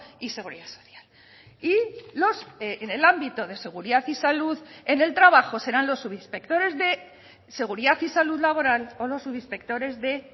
y seguridad social y en el ámbito de seguridad y salud en el trabajo serán los subinspectores de seguridad y salud laboral o los subinspectores de